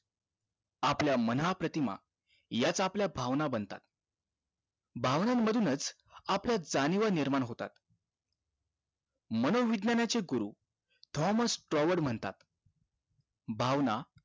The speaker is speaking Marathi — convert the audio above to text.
आपल्या मानाप्रतिमा याच आपल्या भावना बनतात भावना मधूनच आपल्यात जाणिवा निर्माण होतात मनोविज्ञानाचे गुरु थॉमर्स टॉवर म्हणतात भावना